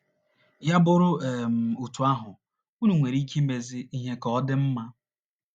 Ya bụrụ um otú ahụ, unu nwere ike imezi ihe ka ọ dị mma.